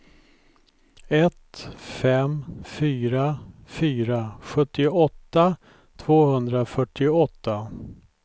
ett fem fyra fyra sjuttioåtta tvåhundrafyrtioåtta